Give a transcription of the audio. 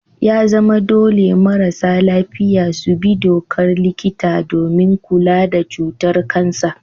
Ya zama dole marasa lafiya su bi dokar likita domin kula da cutar kansa.